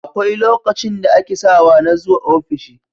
Akwai lokacin da ake sawa na zuwa ofishi